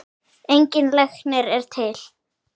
Engin lækning er til.